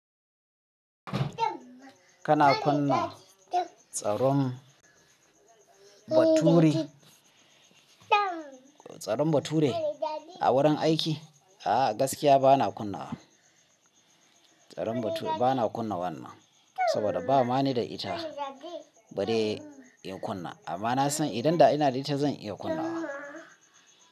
Kana kunna tsaron baturi, tsaron bature a wurin aiki? A'a gaskiya bana kunna wa. Tsaron bature, bana kunna wannan, saboda bama ni da ita bale in kunna. Amma na san idan da ina da ita zan iya kunna wa.